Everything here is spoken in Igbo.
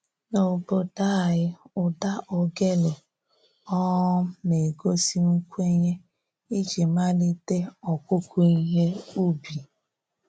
N'obodo anyị, ụda ogele um na-egosi nkwenye iji malite ọkụkụ ihe ubi